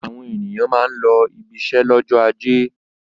Àwọn ènìyàn máa ń lọ ibiṣẹ́ lọ́jọ́ ajé.